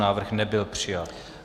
Návrh nebyl přijat.